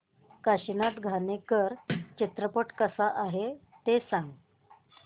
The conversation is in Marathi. काशीनाथ घाणेकर चित्रपट कसा आहे ते सांग